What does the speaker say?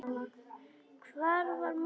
Hvar var mamma?